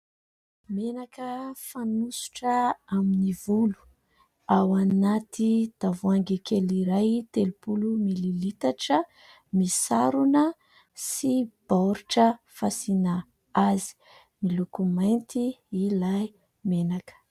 Menaka fanosotra amin'ny volo ao anaty tavoahangy kely iray telopolo mililitatra misarona sy baoritra fasiana azy. Miloko mainty ilay menaka.